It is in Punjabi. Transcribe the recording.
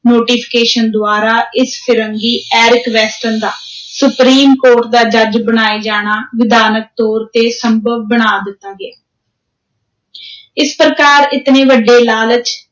Notification ਦੁਆਰਾ, ਇਸ ਫ਼ਿਰੰਗੀ ਐਰਿਕ ਵੈਸਟਨ ਦਾ ਸੁਪ੍ਰੀਮ ਕੋਰਟ ਦਾ ਜੱਜ ਬਣਾਏ ਜਾਣਾ, ਵਿਧਾਨਕ ਤੌਰ 'ਤੇ ਸੰਭਵ ਬਣਾ ਦਿੱਤਾ ਗਿਆ ਇਸ ਪ੍ਰਕਾਰ, ਇਤਨੇ ਵੱਡੇ ਲਾਲਚ,